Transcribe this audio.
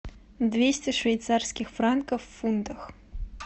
двести швейцарских франков в фунтах